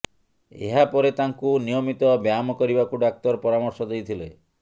ଏହାପରେ ତାଙ୍କୁ ନିୟମିତ ବ୍ୟାୟାମ କରିବାକୁ ଡାକ୍ତର ପରାମର୍ଶ ଦେଇଥିଲେ